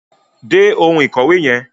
Dé oun ìkòwé yen